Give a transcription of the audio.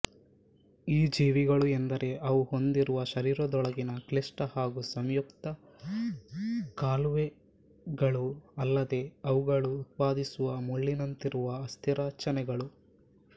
ಈ ಜೀವಿಗಳು ಎಂದರೆ ಅವು ಹೊಂದಿರುವ ಶರೀರದೊಳಗಿನ ಕ್ಲಿಷ್ಟ ಹಾಗೂ ಸಂಯುಕ್ತ ಕಾಲುವೆಗಳು ಅಲ್ಲದೆ ಅವುಗಳು ಉತ್ಪಾದಿಸುವ ಮುಳ್ಳಿನಂತಿರುವ ಅಸ್ಥಿರಚನೆಗಳು